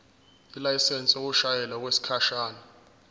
ilayisensi yokushayela okwesikhashana